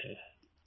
प्रेम जी हाँ जी